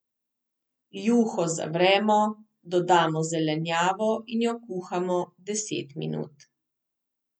Juho zavremo, dodamo zelenjavo in jo kuhamo deset minut.